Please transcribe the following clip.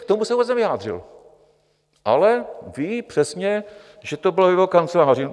K tomu se vůbec nevyjádřil, ale ví přesně, že to bylo v jeho kanceláři.